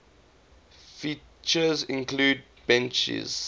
features include beaches